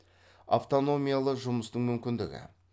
автономиялы жұмыстың мүмкіндігі